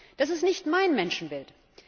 Das ist nicht mein Menschenbild.